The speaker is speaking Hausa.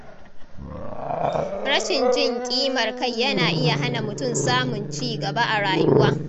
Rashin jin ƙimar kai yana iya hana mutum samun cigaba a rayuwa.